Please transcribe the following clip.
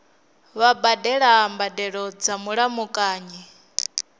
vha badela mbadelo dza mulamukanyi